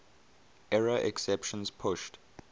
error exceptions pushed